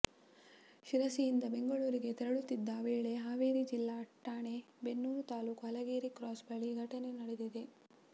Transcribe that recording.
ಶಿರಸಿಯಿಂದ ಬೆಂಗಳೂರಿಗೆ ತೆರಳುತ್ತಿದ್ದ ವೇಳೆ ಹಾವೇರಿ ಜಿಲ್ಲೆ ರಾಣೆ ಬೆನ್ನೂರು ತಾಲೂಕು ಹಲಗೇರಿ ಕ್ರಾಸ್ ಬಳಿ ಈ ಘಟನೆ ನಡೆದಿದೆ